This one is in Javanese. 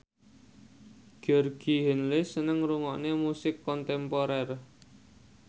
Georgie Henley seneng ngrungokne musik kontemporer